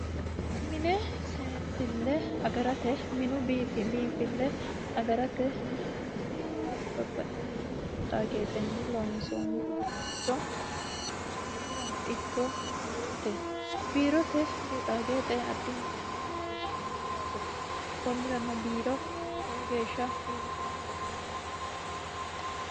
mine seensille agarate minu biinfille agarate mine biifisate babaxxitimmo geexaa geexenni loonsoonni uduunnicho minirano ikko biirote biirote geexaageexe addintanni hasiissanno yaate konnirano biiro lowo geeshsha biifisanne uduunneeti